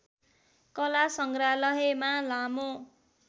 कला सङ्ग्रहालयमा लामो